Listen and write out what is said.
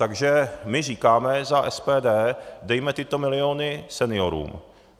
Takže my říkáme za SPD, dejme tyto miliony seniorům.